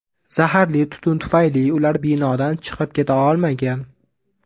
Zaharli tutun tufayli ular binodan chiqib keta olmagan.